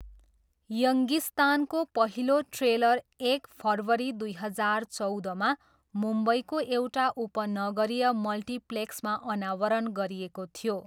यङ्गिस्तानको पहिलो ट्रेलर एक फरवारी दुई हजार चौधमा मुम्बईको एउटा उपनगरीय मल्टिप्लेक्समा अनावरण गरिएको थियो।